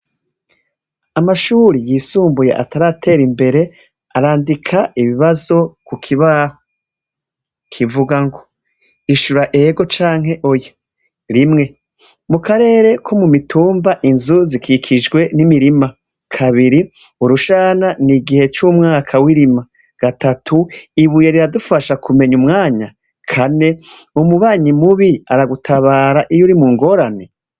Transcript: Amashuri yisumbuye ataratera imbere arandika ibibazo ku kibaho. Kivuga ngo: ishura ego canke oya. Rimwe: mu karere ko mu mitumba, inzu zikikijwe n'imirima. Kabiri: urushana ni igihe c'umwaka w'irima. Gatatu: ibuye riradufasha kumenya umwanya? Kane: umubanyi mubi aragutabara iyo uri mu ngorane?